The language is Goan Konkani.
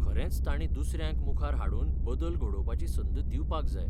खरेंच तांणी दुसऱ्यांक मुखार हाडून बदल घडोवपाची संद दिवपाक जाय.